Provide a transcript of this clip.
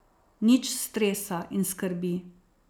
Nič stresa in skrbi.